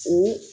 O